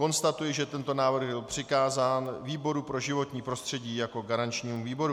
Konstatuji, že tento návrh byl přikázán výboru pro životní prostředí jako garančnímu výboru.